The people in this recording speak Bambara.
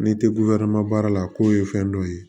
N'i te baara la ko ye fɛn dɔ ye